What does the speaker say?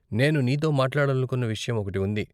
నేను నీతో మాట్లాడనుకున్న విషయం ఒకటి ఉంది.